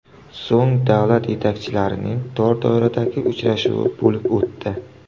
So‘ng davlat yetakchilarining tor doiradagi uchrashuvi bo‘lib o‘tdi.